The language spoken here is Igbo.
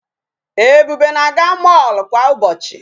Ebube na-aga mall kwa ụbọchị.